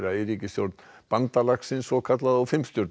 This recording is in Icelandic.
í ríkisstjórn bandalagsins og